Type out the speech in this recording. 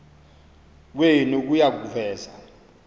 kwenu kuya kuveza